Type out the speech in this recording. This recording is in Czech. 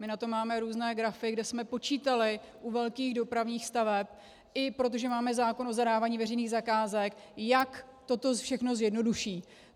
My na to máme různé grafy, kde jsme počítali u velkých dopravních staveb, i protože máme zákon o zadávání veřejných zakázek, jak toto všechno zjednoduší.